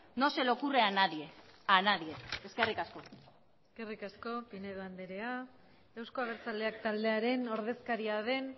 no se le ocurre a nadie a nadie eskerrik asko eskerrik asko pinedo andrea euzko abertzaleak taldearen ordezkaria den